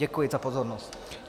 Děkuji za pozornost.